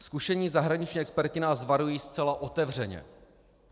Zkušení zahraničních experti nás varují zcela otevřeně.